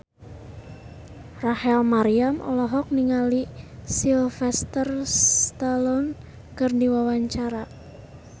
Rachel Maryam olohok ningali Sylvester Stallone keur diwawancara